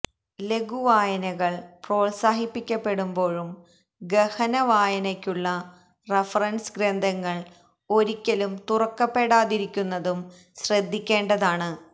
ലഘുവായനകള് പ്രോത്സാഹിപ്പിക്കപ്പെടുപ്പോഴും ഗഹന വായനയ്ക്കുള്ള റഫറന്സ് ഗ്രന്ഥങ്ങള് ഒരിക്കലും തുറക്കപ്പെടാതിരിക്കുന്നതും ശ്രദ്ധിക്കേണ്ടതാണ്